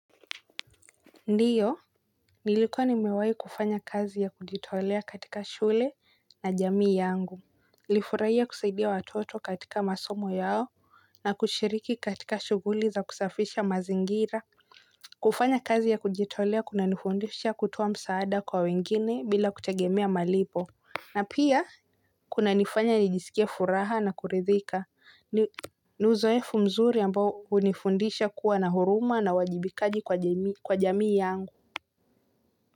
Ndiyo, nilikuwa nimewahi kufanya kazi ya kujitolea katika shule na jamii yangu. Nilifurahia kusaidia watoto katika masomo yao na kushiriki katika shughuli za kusafisha mazingira. Kufanya kazi ya kujitolea kuna nifundisha kutoa msaada kwa wengine bila kutegemea malipo. Na pia, kuna nifanya nijisikie furaha na kuridhika. Ni uzoefu mzuri ambao hunifundisha kuwa na huruma na wajibikaji kwa jamii yangu.